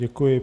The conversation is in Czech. Děkuji.